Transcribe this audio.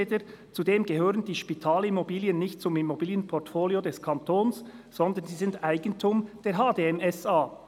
«Zudem gehören die Spitalimmobilien nicht zum Immobilienportfolio des Kantons, sondern sie sind Eigentum der HDM SA.»